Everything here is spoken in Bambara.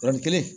Yɔrɔnin kelen